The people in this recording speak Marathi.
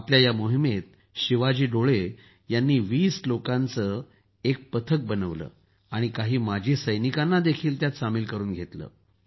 आपल्या या मोहिमेत शिवाजो डोले यांनी २० लोकांची असं एक पथक बनवलं आणि काही माजी सैनिकांनाही त्यात सामिल करून घेतलं